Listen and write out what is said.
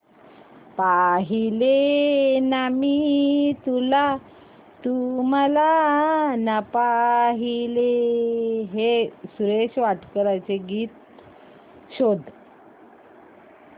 पाहिले ना मी तुला तू मला ना पाहिले हे सुरेश वाडकर यांचे गीत शोध